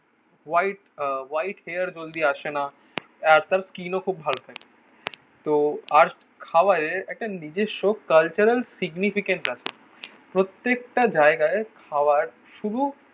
White ah white hair জলদি আসে না. আজকাল স্কিনও খুব ভালো থাকে. তো আর খাবারের একটা নিজস্ব কালচারাল সিগনিফিকেন্ট আছে. প্রত্যেকটা জায়গায় খাওয়ার শুধু